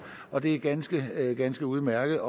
og det er ganske ganske udmærket